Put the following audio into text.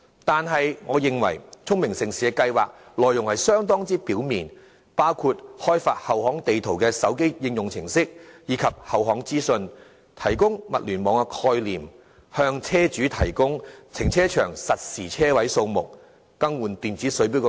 但是，我認為聰明城市的計劃內容流於表面，包括開發後巷地圖的手機應用程式及後巷資訊、提供"物聯網"概念、向車主提供停車場實時車位數目，以及更換電子水電錶等。